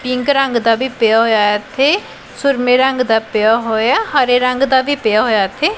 Pink ਰੰਗ ਦਾ ਵੀ ਪਿਆ ਹੋਇਆ ਐ ਇੱਥੇ ਸੁਰਮੇ ਰੰਗ ਦਾ ਪਿਆ ਹੋਇਆ ਹਰੇ ਰੰਗ ਦਾ ਵੀ ਪਿਆ ਹੋਇਆ ਇੱਥੇ।